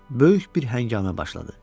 Böyük bir həngamə başladı.